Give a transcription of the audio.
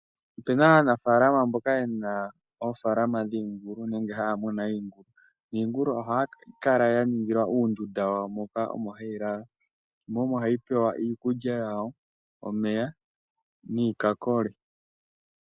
Opena aanafalama mboka yena oofalama dhiingulu nenge haya munu iingulu, niingulu ohayi kala ya ningilwa uundunda wawo moka omo hayi lala, mo omo hayi pewa iikulya yawo, omeya, niikakole.